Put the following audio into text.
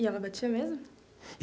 E ela batia mesmo?